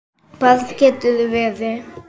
Barn geturðu verið!